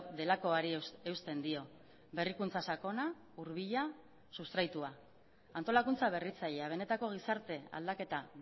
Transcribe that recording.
delakoari eusten dio berrikuntza sakona hurbila sustraitua antolakuntza berritzailea benetako gizarte aldaketa